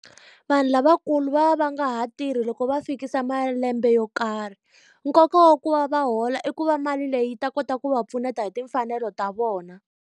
Vanhu lavakulu va va nga ha tirhi loko va fikisa malembe yo karhi. Nkoka wa ku va va hola i ku va mali leyi yi ta kota ku va pfuneta hi timfanelo ta vona.